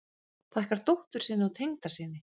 Þakkar dóttur sinni og tengdasyni